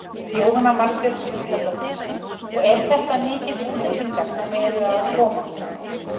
Jóhanna Margrét Gísladóttir: Og eru þetta mikið útlendingar sem eru að koma?